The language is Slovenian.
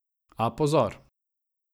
A, pozor!